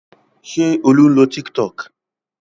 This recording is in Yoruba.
Ṣé Olú ń lo Tiktok?